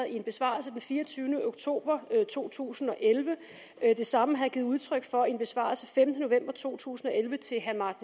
i en besvarelse den fireogtyvende oktober to tusind og elleve det samme har jeg givet udtryk for i en besvarelse af femtende november to tusind og elleve til herre